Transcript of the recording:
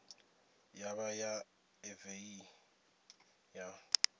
ya vha ya evee ya